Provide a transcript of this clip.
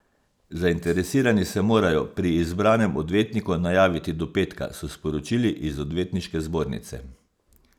Zainteresirani se morajo pri izbranem odvetniku najaviti do petka, so sporočili iz odvetniške zbornice.